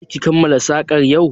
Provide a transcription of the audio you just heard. Za ki kammala sakar yau?